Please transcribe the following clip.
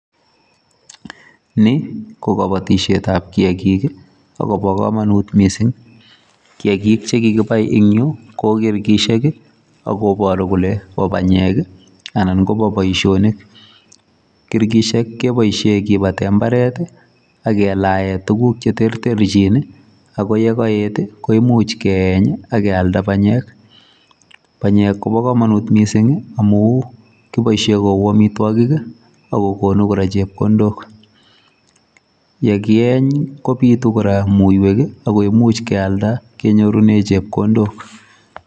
Ni ko kabatisietab kiagik, agobo kamanut mising. Kiagik che kigibai eng yu ko kirgisiek, agoboru kole bo banyek, anan kobo boisionik. Kirgishek kebisie kibate mbaret, ak kelae tuguk che terterchin. Ago yekaet, koimuch keeny akealda banyek. Banyek kobo kamanut mising amu kiboisie kou amitwogik, ako gonu kora chepkondok. Ye kieny, kobitu kora muiywek, ago imuch kealda kenyorune chepkondok.